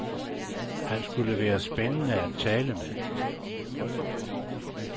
Han skulle være spændende at tale med.